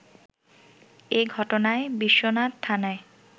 এ ঘটনায় বিশ্বনাথ থানায়